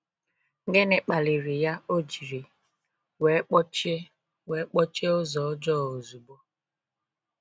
Gịnị kpaliri ya o jiri wee kpọchie wee kpọchie ụzọ ọjọọ ozugbo?